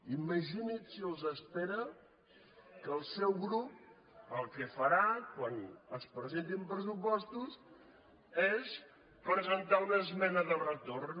imagini’s si els espera que el seu grup el que fa·rà quan es presentin pressupostos és presentar·hi una esmena de retorn